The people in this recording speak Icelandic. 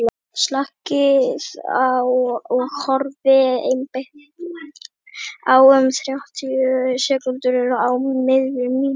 slakið á og horfið einbeitt í um þrjátíu sekúndur á miðja myndina